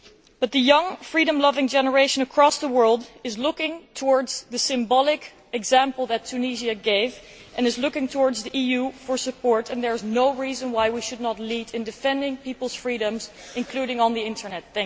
But the young, freedom loving generation across the world is looking to the symbolic example that Tunisia has given and is looking to the EU for support, and there is no reason why we should not lead in defending people's freedoms, including on the Internet.